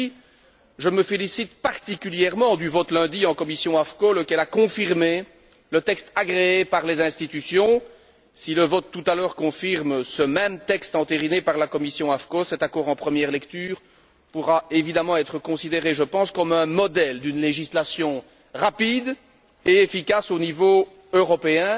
Ainsi, je me félicite particulièrement du vote lundi en commission AFCO, lequel a confirmé le texte agréé par les institutions, si le vote tout à l'heure confirme ce même texte entériné par la commission AFCO, cet accord en première lecture pourra évidemment être considéré comme un modèle d'une législation rapide et efficace au niveau européen.